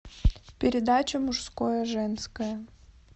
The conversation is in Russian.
передача мужское женское